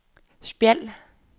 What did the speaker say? Spjald